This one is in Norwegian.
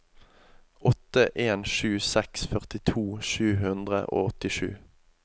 åtte en sju seks førtito sju hundre og åttisju